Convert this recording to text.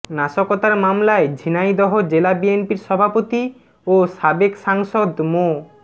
নাশকতার মামলায় ঝিনাইদহ জেলা বিএনপির সভাপতি ও সাবেক সাংসদ মো